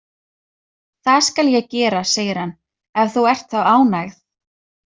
Það skal ég gera, segir hann, „ef þú ert þá ánægð“